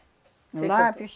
O lápis.